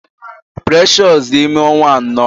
Precious dị ime ọnwa anọ.